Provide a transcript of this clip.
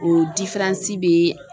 O bɛ.